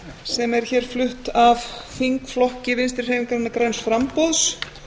sem er hér flutt af þingflokki vinstri hreyfingarinnar græns framboðs